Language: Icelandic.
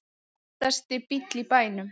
Flottasti bíll í bænum